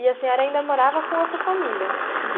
E a senhora ainda morava com a sua família?